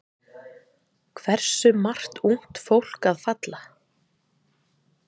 Hversu margt ungt fólk að falla?